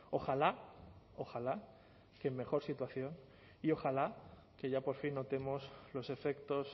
ojalá ojalá que en mejor situación y ojalá que ya por fin notemos los efectos